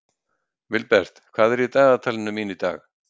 Vilbert, hvað er í dagatalinu mínu í dag?